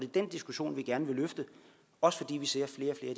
den diskussion vi gerne vil løfte også fordi vi ser